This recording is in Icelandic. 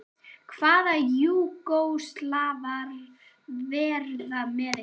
Hvaða Júgóslavar verða með ykkur?